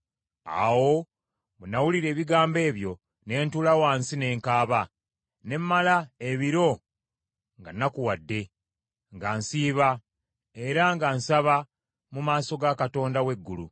Awo bwe nawulira ebigambo ebyo, ne ntuula wansi ne nkaaba, ne mmala ebiro nga nnakuwadde, nga nsiiba era nga nsaba mu maaso ga Katonda w’eggulu.